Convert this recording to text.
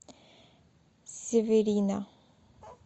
северина